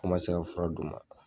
Ko n man se ka fura d'u ma.